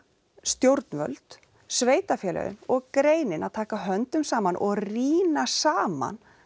stjórnvöld sveitarfélögin og greinin að taka höndum saman og rýna saman